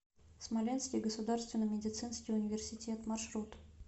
смоленский государственный медицинский университет маршрут